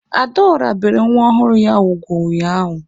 Adaọra bere nwa ọhụrụ ya ugwu ụnyaahụ.